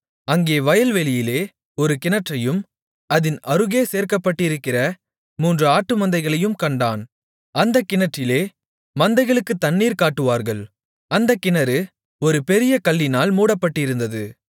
அங்கே வயல்வெளியிலே ஒரு கிணற்றையும் அதின் அருகே சேர்க்கப்பட்டிருக்கிற மூன்று ஆட்டுமந்தைகளையும் கண்டான் அந்தக் கிணற்றிலே மந்தைகளுக்குத் தண்ணீர் காட்டுவார்கள் அந்தக் கிணறு ஒரு பெரிய கல்லினால் மூடப்பட்டிருந்தது